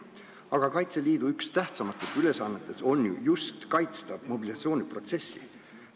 Aga Kaitseliidu üks tähtsamatest ülesannetest on ju just kaitsta mobilisatsiooniprotsessi.